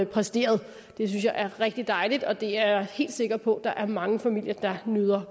præsteret det synes jeg er rigtig dejligt og det er jeg helt sikker på der er mange familier der nyder